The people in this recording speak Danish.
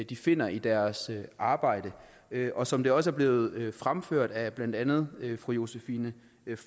de finder i deres arbejde og som det også er blevet fremført af blandt andet fru josephine